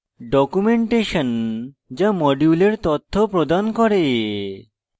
documentation যা modules তথ্য প্রদান করে